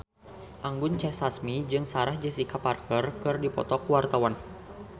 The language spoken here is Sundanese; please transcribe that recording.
Anggun C. Sasmi jeung Sarah Jessica Parker keur dipoto ku wartawan